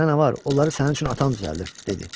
Sənə nə var, onları sənin üçün atan düzəldir, dedi.